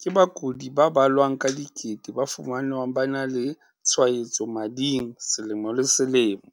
ke bakudi ba balwang ka dikete ba fumanwang ba na le tshwaetso mading selemo le selemo.